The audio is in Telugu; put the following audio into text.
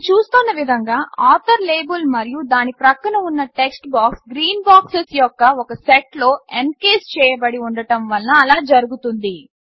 మనం చూస్తోన్న విధంగా ఆథర్ లేబుల్ మరియు దాని ప్రక్కన ఉన్న టెక్స్ట్ బాక్స్ గ్రీన్ బాక్సెస్ యొక్క ఒక సెట్లో ఎన్కేస్ చేయబడి ఉండడం వలన అలా జరుగుతుంది